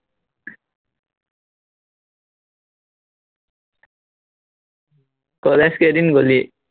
college কেইদিন গলি